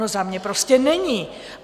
No, za mě prostě není.